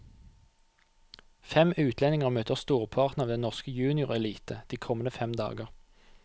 Fem utlendinger møter storparten av den norske juniorelite de kommende fem dager.